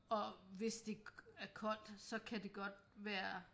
Og hvis det er koldt så kan det godt være